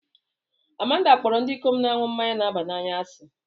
Amanda kpọrọ ndị ikom na-aṅụ mmanya na-aba n'anya asị